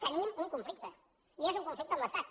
tenim un conflicte i és un conflicte amb l’estat